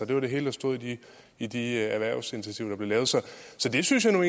det var det hele der stod i de erhvervsinitiativer der blev lavet så det synes jeg nu